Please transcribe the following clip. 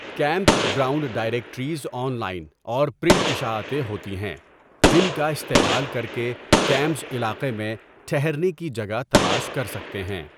Camp ground directories online اور print اشاعتیں ہوتی ہیں جن کا استعمال کر کے کیمپز علاقے میں ٹھہرنے کی جگہ تلاش کر سکتے ہیں.